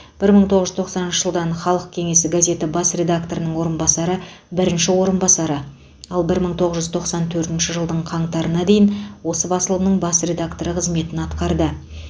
бір мың тоғыз жүз тоқсаныншы жылдан халық кеңесі газеті бас редакторының орынбасары бірінші орынбасары ал бір мың тоғыз жүз тоқсан төртінші жылдың қаңтарына дейін осы басылымның бас редакторы қызметін атқарды